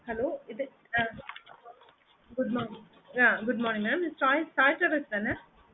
hello hello இது good morning yeah good morning mam Sai Sai status தான mam எனக்கு ஒரு tour plan நாங்க போட்ருக்கோம்